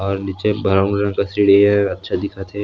और निचे ब्राउन रंग का सीढ़ी है और अच्छा दिखा थे।